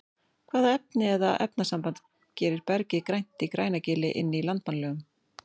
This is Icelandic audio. Hvaða efni eða efnasamband gerir bergið grænt í Grænagili inn í Landmannalaugum?